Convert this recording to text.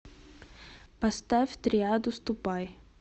поставь триаду ступай